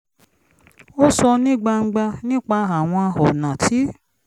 ó sọ̀ ní gbangba nípa àwọn ọ̀nà tí